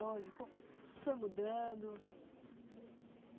O que foi mudando?